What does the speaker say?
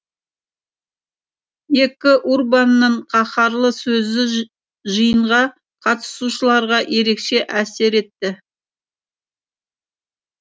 екі урбанның қаһарлы сөзі жиынға қатысушыларға ерекше әсер етті